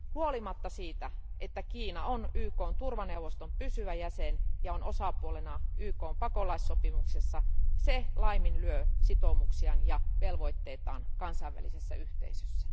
Huolimatta siitä, että Kiina on YKn turvaneuvoston pysyvä jäsen ja on osapuolena YKn pakolaissopimuksessa, se laiminlyö sitoumuksiaan ja velvoitteitaan kansainvälisessä yhteisössä.